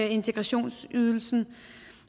integrationsydelsen